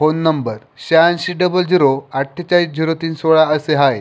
Phone नंबर शहाऐंशी double zero अठ्ठेचाळीस झिरो तीन सोळा असे आहे.